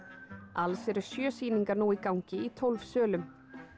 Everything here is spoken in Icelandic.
alls eru sjö sýningar nú í gangi í tólf sölum